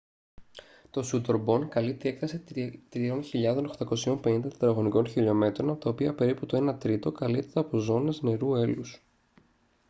το σούντορμπον καλύπτει έκταση 3.850 τετραγωνικών χιλιομέτρων από τα οποία περίπου το ένα τρίτο καλύπτεται από ζώνες νερού/έλους